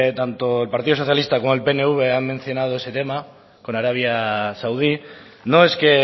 tanto partido socialista como el pnv han mencionado ese tema con arabia saudí no es que